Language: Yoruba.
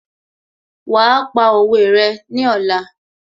Wàá pa òwe rẹ ní ọ̀la